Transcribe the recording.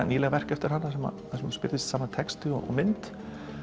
nýleg verk eftir hana þar sem hún spyrðir saman texta og mynd